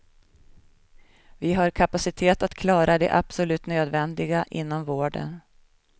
Vi har kapacitet att klara det absolut nödvändiga inom vården.